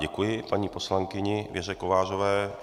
Děkuji paní poslankyni Věře Kovářové.